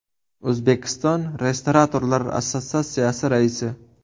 O‘zbekiston Restoratorlar assotsiatsiyasi raisi.